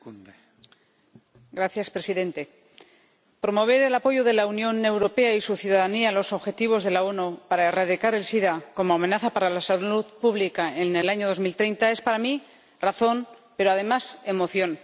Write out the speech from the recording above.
Señor Presidente, promover el apoyo de la Unión Europea y su ciudadanía a los objetivos de las Naciones Unidas para erradicar el sida como amenaza para la salud pública en el año 2030 es para mí razón, pero, además, emoción.